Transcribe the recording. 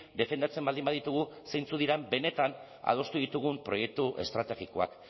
defendatzen baldin baditugu zeintzuk diren benetan adostu ditugun proiektu estrategikoak